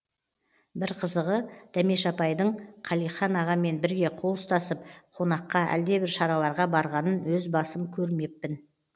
бір қызығы дәмеш апайдың қалихан ағамен бірге қол ұстасып қонаққа әлдебір шараларға барғанын өз басым көрмеппін